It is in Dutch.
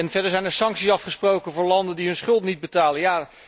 Verder zijn er sancties afgesproken voor landen die hun schuld niet betalen.